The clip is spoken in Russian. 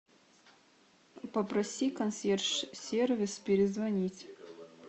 попроси консьерж сервис перезвонить